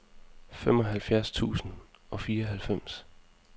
femoghalvfjerds tusind og fireoghalvfems